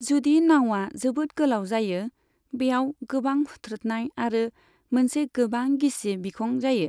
जुदि नाउआ जोबोद गोलाव जायो, बेयाव गोबां हुथ्रोदनाय आरो मोनसे गोबां गिसि बिखं जायो।